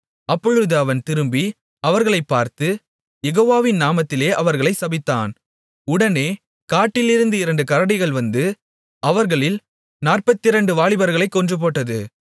அப்பொழுது அவன் திரும்பி அவர்களைப் பார்த்து யெகோவாவின் நாமத்திலே அவர்களைச் சபித்தான் உடனே காட்டிலிருந்து இரண்டு கரடிகள் வந்து அவர்களில் நாற்பத்திரண்டு வாலிபர்களைக் கொன்றுபோட்டது